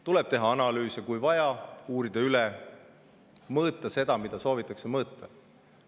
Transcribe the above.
Tuleb teha analüüs ja kui vaja, uurida ja mõõta seda, mida soovitakse mõõta.